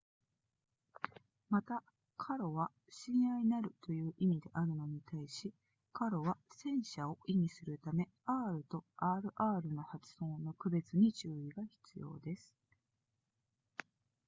また caro は親愛なるという意味であるのに対し carro は戦車を意味するため r と rr の発音の区別に注意が必要です